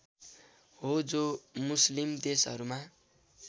हो जो मुस्लिम देशहरूमा